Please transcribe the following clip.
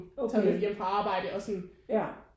Okay ja